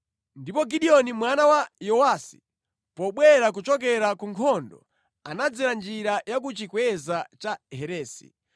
Ndipo Gideoni mwana wa Yowasi, pobwera kuchokera ku nkhondo anadzera njira ya ku chikweza cha Heresi.